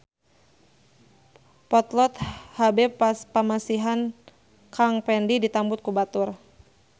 Potlot HB pamasihan Kang Pendi ditambut ku batur